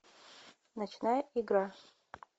ночная игра